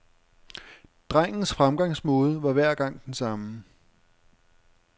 Drengens fremgangsmåde var hver gang den samme.